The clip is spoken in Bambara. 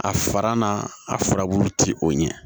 A fara na a furabulu ti o ɲɛ